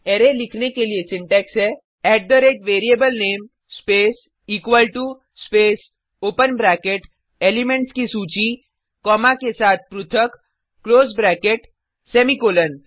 array लिखने के लिए सिंटेक्स हैः at the rate variable name space equal to space open bracket elements की सूची कॉमा के साथ पृथक क्लोज ब्रैकेट सेमीकॉलन